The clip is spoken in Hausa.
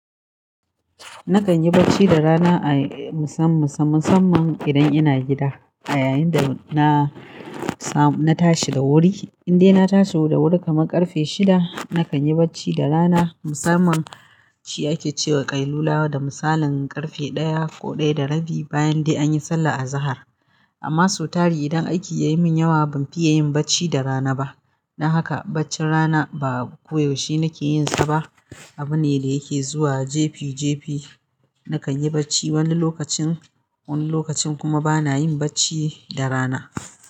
Nakan yi bacci da rana a musam-musam-musamman idan ina gida a yayin da na samu, na tashi da wuri. Indai na tashi da wuri kaman ƙarfe shida, nakan yi bacci da rana. Musamman ci ake cewa ƙailulawa da misalin ƙarfe ɗaya ko ɗaya da rabi bayan dai an yi sallah azahar. Amma so tari idan aiki ya yi min yawa, ban fiya yin bacci da rana ba. Don haka baccin rana ba koyaushe nake yin sa ba. Abu ne da yake zuwa jefi jefi. Nakan yi bacci wani lokacin, wani lokacin kuma bana yin bacci da rana.